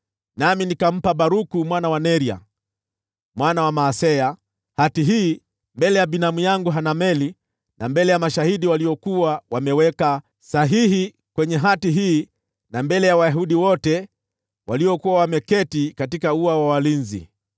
nami nikampa Baruku mwana wa Neria, mwana wa Maaseya, hati hii mbele ya binamu yangu Hanameli, na mbele ya mashahidi waliokuwa wameweka sahihi kwenye hati hii na mbele ya Wayahudi wote waliokuwa wameketi katika ua wa walinzi.